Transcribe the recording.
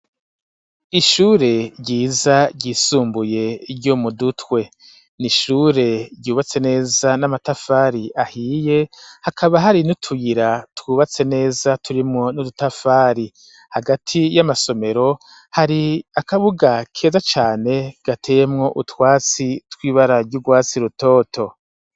Ishure ryiza ryisumbuye ryo mu dutwe ni ishure ryubatse neza n'amatafari ahiye hakaba hari niutuyira twubatse neza turimwo n'udutafari hagati y'amasomero hari akabuga keza cane gateemwo utwatsi twiba bararya urwasi rutoto.